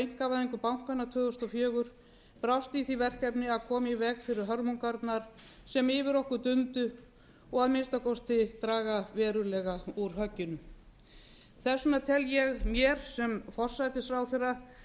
einkavæðingu bankanna tvö þúsund og fjögur brást í því verkefni að koma í veg fyrir hörmungarnar sem yfir okkur dundu og að minnsta kosti draga verulega úr högginu þess vegna tel ég mér sem forsætisráðherra